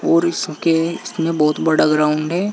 और इसके इसमें बहोत बड़ा ग्राउंड है।